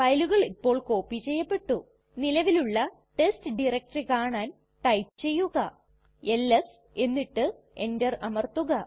ഫയലുകൾ ഇപ്പോൾ കോപ്പി ചെയ്യപെട്ടു നിലവിലുള്ള ടെസ്റ്റ് ഡയറക്ടറി കാണാൻ ടൈപ്പ് ചെയ്യുക എൽഎസ് എന്നിട്ട് എന്റർ അമർത്തുക